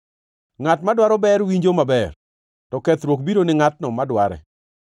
Ngʼat madwaro ber winjo maber, to kethruok biro ni ngʼatno madware.